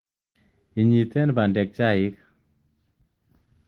Nyeitten bandek chaik